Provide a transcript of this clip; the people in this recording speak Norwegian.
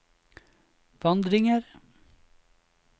vandringer